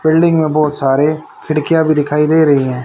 Building में बहुत सारे खिड़कियां भी दिखाई दे रही हैं।